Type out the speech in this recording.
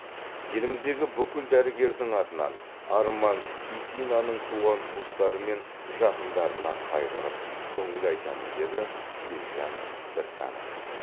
еліміздегі бүкіл дәрігердің атынан арман исинаның туған туыстары мен жақындарына қайғырып көңіл айтамын деді елжан біртанов